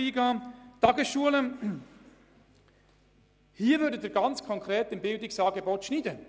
Bei einer Kürzung der Beiträge an die Tagesschulen würden Sie ganz konkret das Bildungsangebot beschneiden.